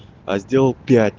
а сделал пять